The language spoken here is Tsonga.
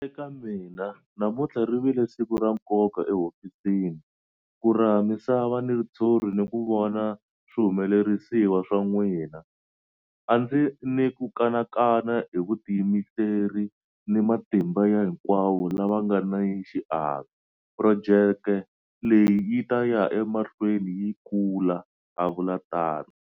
Eka mina, namuntlha ri vile siku ra nkoka ehofisini, ku raha misava ni ritshuri ni ku vona swihumelerisiwa swa n'wina. A ndzi ni ku kanakana hi vutiyimiseri ni matimba ya hinkwavo lava nga ni xiave, projeke leyi yi ta ya ema hlweni yi kula, a vula tano.